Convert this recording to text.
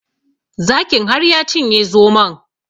Zakin har ya cinye zomon